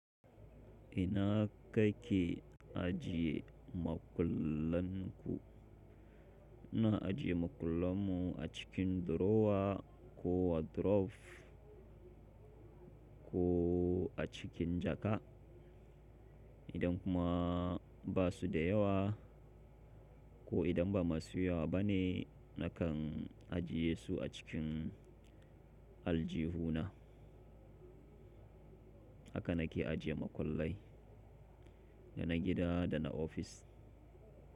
Ina kake ajiye makullan ku? Ina ajiye makullan mu a cikin drawer ko wardrobe ko a cikin jaka. Idan kuma ba su da yawa ko idan ba masu yawa ba ne, nakan ajiye su a cikin aljihuna. Haka na ke ajiye makullai, da na gida da na ofis.